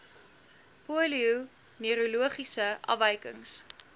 polio neurologiese afwykings